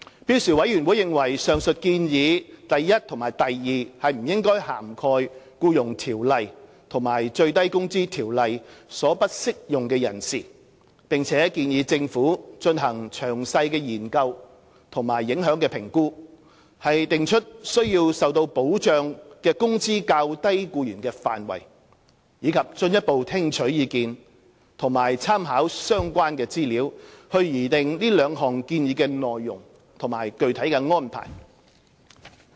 標時委員會認為上述建議 i 及不應涵蓋《僱傭條例》及《最低工資條例》所不適用的人士，並建議政府進行詳細的研究和影響評估，訂出須受保障的工資較低僱員的範圍，以及進一步聽取意見及參考相關資料，以擬定這兩項建議的內容及具體安排。